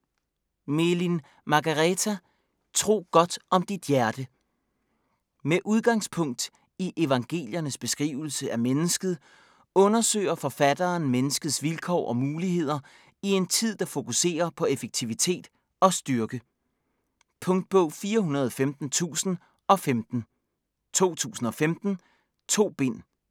Melin, Margareta: Tro godt om dit hjerte Med udgangspunkt i evangeliernes beskrivelse af mennesket undersøger forfatteren menneskets vilkår og muligheder i en tid, der fokuserer på effektivitet og styrke. Punktbog 415015 2015. 2 bind.